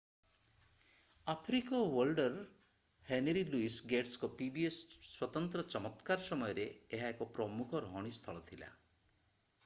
ଆଫ୍ରିକୀୟ ୱର୍ଲ୍ଡର Henry Louis ଗେଟ୍ସଙ୍କ pbs ସ୍ୱତନ୍ତ୍ର ଚମତ୍କାର ସମୟରେ ଏହା ଏକ ପ୍ରମୁଖ ରହଣୀ ସ୍ଥଳ ଥିଲା